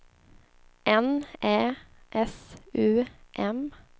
N Ä S U M